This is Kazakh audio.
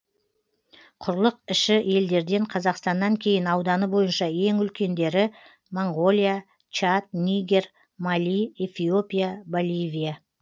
құрлық іші елдерден қазақстаннан кейін ауданы бойынша ең үлкендері моңғолия чад нигер мали эфиопия боливия